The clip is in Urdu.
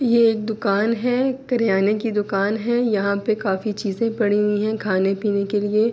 یہ دکان ہے۔ کرانے کی دکان ہے۔ یہاں پی کافی چیزے پڑی ہوئی ہے۔ خانے پینے کے لئے--